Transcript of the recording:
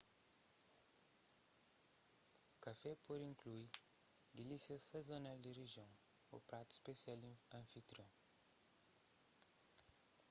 kafé pode inklui dilísias sazonal di rijion ô pratu spesial di anfitrion